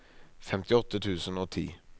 femtiåtte tusen og ti